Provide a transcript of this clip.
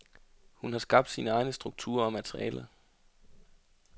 Hun har skabt sine egne strukturer og materialer.